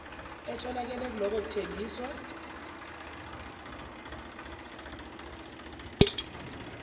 etholakele kulokho kuthengiswa